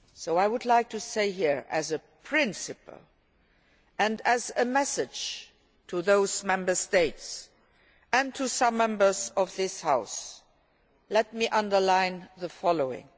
I would like, as a principle, and as a message to those Member States and to some Members of this House, to underline the following.